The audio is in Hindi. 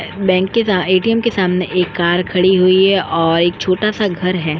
बैंक के सा ए_टी_एम के सामने एक कार खड़ी हुई है और एक छोटा सा घर है।